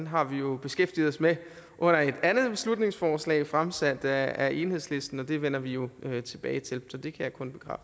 har vi jo beskæftiget os med under et andet beslutningsforslag fremsat af enhedslisten og det vender vi jo tilbage til så det kan